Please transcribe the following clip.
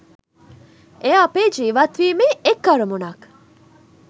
එය අපේ ජීවත් වීමේ එක් අරමුණක්